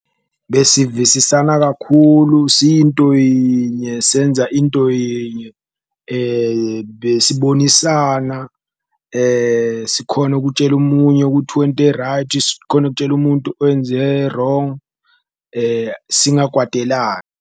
Besivisisana kakhulu siyinto yinye senza into yinye, besibonisana sikhona ukutshela omunye kuthi wente right, sikhone kutshela umuntu wenze wrong, singakwatelani.